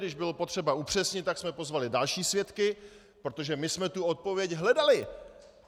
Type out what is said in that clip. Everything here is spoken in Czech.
Když bylo potřeba upřesnit, tak jsme pozvali další svědky, protože my jsme tu odpověď hledali.